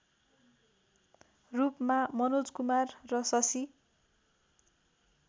रूपमा मनोज कुमार र शशि